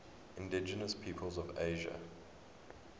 indigenous peoples of asia